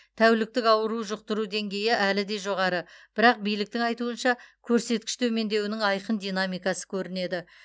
тәуліктік ауру жұқтыру деңгейі әлі де жоғары бірақ биліктің айтуынша көрсеткіш төмендеуінің айқын динамикасы көрінеді